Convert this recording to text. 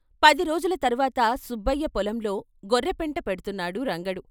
పది రోజుల తర్వాత సుబ్బయ్య పొలంలో గొర్రెపెంట పెడ్తున్నాడు రంగడు.